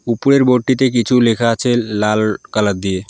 উপরের বোর্ডটিতে কিছু লেখা আছে লা-লাল কালার দিয়ে।